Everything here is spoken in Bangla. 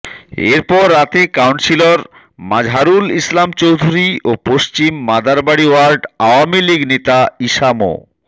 এরপর রাতে কাউন্সিলর মাজহারুল ইসলাম চৌধুরী ও পশ্চিম মাদারবাড়ি ওয়ার্ড আওয়ামী লীগ নেতা ঈসা মো